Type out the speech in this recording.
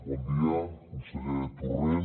bon dia conseller torrent